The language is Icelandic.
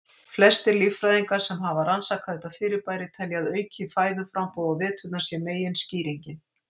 Flestir líffræðingar sem hafa rannsakað þetta fyrirbæri telja að aukið fæðuframboð á veturna sé meginskýringin.